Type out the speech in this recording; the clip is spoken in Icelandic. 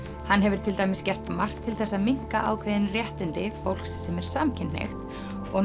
hann hefur til dæmis gert margt til þess að minnka ákveðin réttindi fólks sem er samkynhneigt og